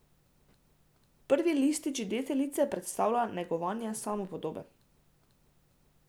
Prvi listič deteljice predstavlja negovanje samopodobe.